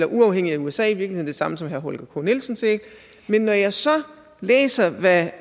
uafhængigt af usa i virkeligheden det samme som herre holger k nielsen sagde men når jeg så læser hvad